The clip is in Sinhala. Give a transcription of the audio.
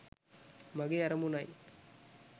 මගේ අරමුණයි.